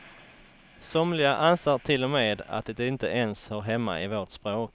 Somliga anser till och med att det inte ens hör hemma i vårt språk.